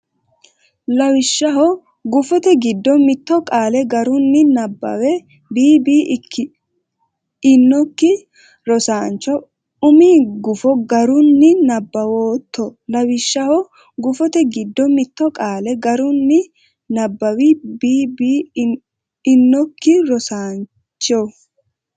Lawishshaho gufote giddo mitto qaale garunni nabbaw bb inokki rosaancho Umi gufo garunni nabbawootto Lawishshaho gufote giddo mitto qaale garunni nabbaw bb inokki rosaancho.